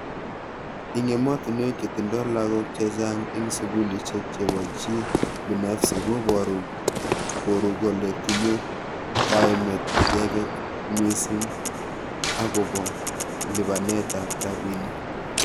Ing emotunwek che tindoi lagok chechang ing sukulishek chepo chii binafsi koporu koru kole tinye kaimet icheket misingb akopo lipanet ap rapinik.